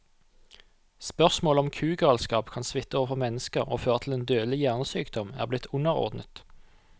Spørsmålet om kugalskap kan smitte over på mennesker og føre til en dødelig hjernesykdom, er blitt underordnet.